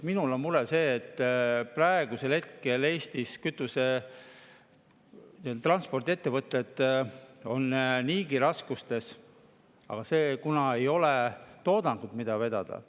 Minu mure on see, et praegu on Eesti transpordiettevõtted niigi raskustes, sest ei ole toodangut, mida vedada.